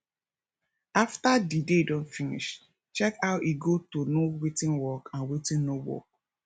after di day don finish check how e go to know wetin work and wetin no work